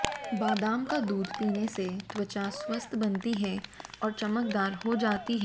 बादाम का दूध पीने से त्वचा स्वस्थ बनती हैं और चमकदार हो जाती है